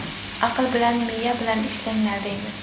Aql bilan, miya bilan ishlanglar!”, deymiz.